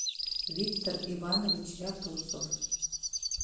виктор иванович ряпусов